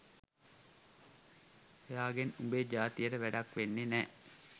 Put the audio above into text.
එයාගෙන් උඹේ ජාතියට වැඩක් වෙන්නේ නෑ